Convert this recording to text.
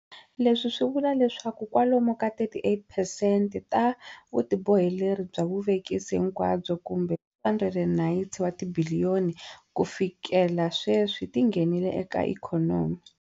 Leswi swi vula leswaku kwalomu ka 38 percent ta vutiboheleri bya vuvekisi hinkwabyo - kumbe R290 wa tibiliyoni - kufikela sweswi ti nghenile eka ikhonomi.